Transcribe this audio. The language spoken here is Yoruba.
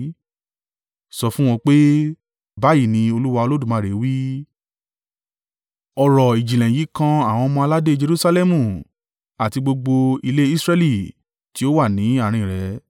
“Sọ fún wọn pé, ‘Báyìí ni Olúwa Olódùmarè wí, ọ̀rọ̀-ìjìnlẹ̀ yìí kan àwọn ọmọ-aládé Jerusalẹmu àti gbogbo ilé Israẹli tí ó wà ní àárín rẹ.